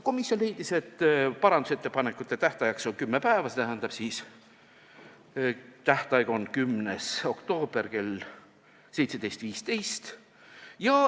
Komisjon leidis, et parandusettepanekute esitamise tähtajaks on kümme päeva, st tähtaeg on 10. oktoobril kell 17.15.